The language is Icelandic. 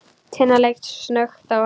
Tinna leit snöggt á hann.